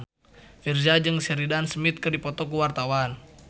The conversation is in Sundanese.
Virzha jeung Sheridan Smith keur dipoto ku wartawan